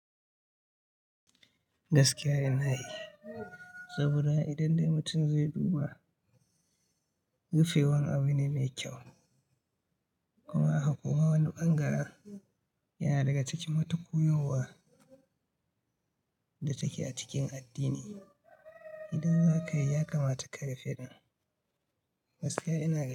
Gaskiya ina yi, saboda idan dai mutum zai duba rufe wan abu ne mai kyau. Kuma haka kuma wani bangaren yana daga cikin matu koyarwa da take a cikin addini. Idan za ka iya kamata ka rufe, gaskiya ina.